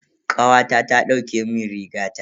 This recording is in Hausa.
Kawata ta dauke mun rigata.